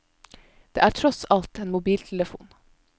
Det er tross alt en mobiltelefon.